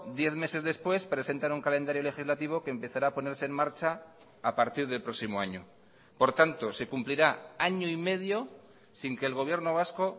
diez meses después presentan un calendario legislativo que empezará a ponerse en marcha a partir del próximo año por tanto se cumplirá año y medio sin que el gobierno vasco